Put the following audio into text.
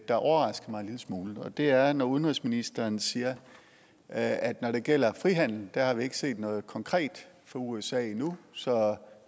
der overraskede mig en lille smule og det er når udenrigsministeren siger at når det gælder frihandel har vi ikke set noget konkret fra usa endnu så